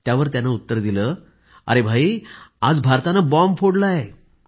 त्यावर त्यानं उत्तर दिलं अरे भाई आज भारतानं बॉम्ब फोडलाय